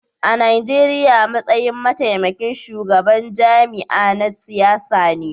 A Nijeriya, matsayin mataimakin shugaban jami'a na siyasa ne